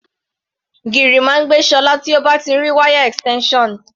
Gìrì máa ń gbé Ṣọlá tí ó bá ti rí wáyà extension.